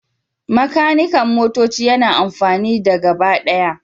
Makanikan motoci yana amfani da gabaɗaya